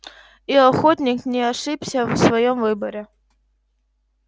и охотник не ошибся в своём выборе